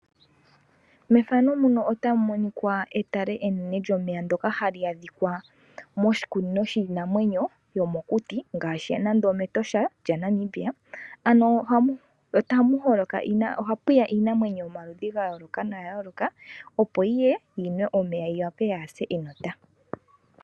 Etale enene lyomeya ndoka hali adhikwa moshikunino shiinamwenyo yomokuti mEtosha moNamibia ohapu ya nduno iinamwenyo oyindji yayooloka petale mpaka opo yiye yiwape nenge yinwe omeya yaase enota.